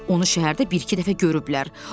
Onu şəhərdə bir-iki dəfə görüblər.